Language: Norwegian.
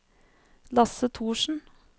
Lasse Thorsen